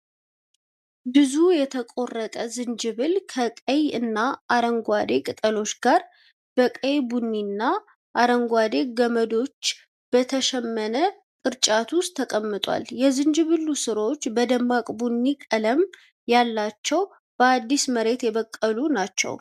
ብዙ የተቆረጠ ዝንጅብል፣ ከቀይ እና አረንጓዴ ቅጠሎች ጋር፣ በቀይ ቡኒ እና አረንጓዴ ገመዶች በተሸመነ ቅርጫት ውስጥ ተቀምጧል። የዝንጅብሉ ሥሮች በደማቅ ቡኒ ቀለም ያላቸውና በአዲስ መሬት የበቀሉ ናቸው።